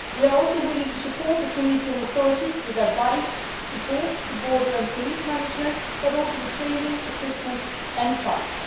We are also willing to support the Tunisian authorities with advice, support for border and police management, and also with training, equipment and funds.